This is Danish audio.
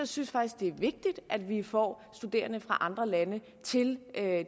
synes faktisk det er vigtigt at vi får studerende fra andre lande til